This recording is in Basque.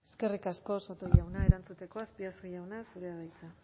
eskerrik asko soto jauna erantzuteko azpiazu jauna zurea da hitza